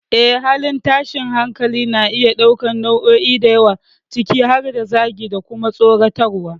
Yes, halin tashin hankali na iya ɗaukar nau'o'i da yawa, ciki har da zagi, da kuma tsoratarwa.